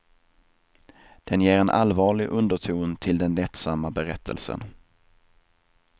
Den ger en allvarlig underton till den lättsamma berättelsen.